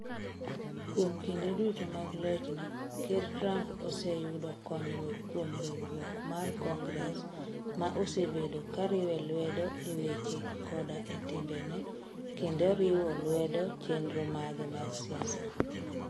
Kuom kinde duto mag lochne, Ker Trump oseyudo konyruok kuom riwruok mar Congres, ma osebedo ka riwe lwedo e weche koda e timbene, kendo riwo lwedo chenro mage mag siasa.